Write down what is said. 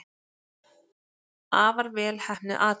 Afar vel heppnuð athöfn.